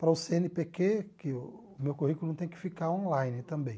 para o cê ene pê quê, que o meu currículo tem que ficar online também.